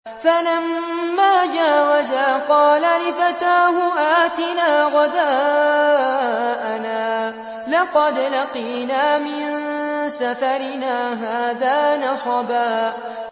فَلَمَّا جَاوَزَا قَالَ لِفَتَاهُ آتِنَا غَدَاءَنَا لَقَدْ لَقِينَا مِن سَفَرِنَا هَٰذَا نَصَبًا